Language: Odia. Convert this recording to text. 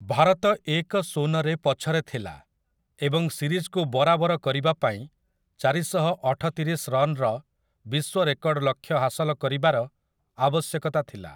ଭାରତ ଏକ-ଶୂନରେ ପଛରେ ଥିଲା, ଏବଂ ସିରିଜ୍‌କୁ ବରାବର କରିବାପାଇଁ ଚାରିଶହ ଅଠତିରିଶ ରନ୍‌ର ବିଶ୍ୱ ରେକର୍ଡ଼ ଲକ୍ଷ୍ୟ ହାସଲ କରିବାର ଆବଶ୍ୟକତା ଥିଲା ।